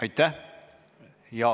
Aitäh!